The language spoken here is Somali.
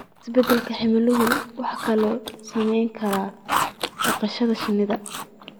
Isbeddelka cimiladu wuxuu kaloo saameyn karaa dhaqashada shinnida.